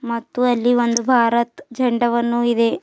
ಮತ್ತು ಅಲ್ಲಿ ಒಂದ್ ಭಾರತ್ ಜಂಡವನ್ನು ಇದೆ.